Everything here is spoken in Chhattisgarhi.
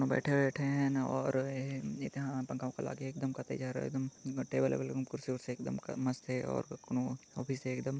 बैठे-वैठे हेन और एहा गाँव का लागे एकदम जहर अउ एकदम टेबल वेबेल एवं कुर्सी-वुरसी एकदम मस्त हे और कोनो ऑफिस हे एकदम--